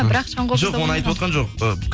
бірақ шаңқобызда жоқ оны айтывотқан жоқ